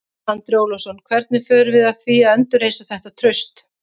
Andri Ólafsson: Hvernig förum við að því að endurreisa þetta traust?